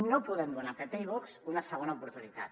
no podem donar a pp i vox una segona oportunitat